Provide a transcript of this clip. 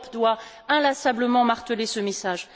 L'Europe doit inlassablement marteler ce message.